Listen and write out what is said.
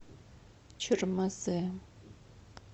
чермозе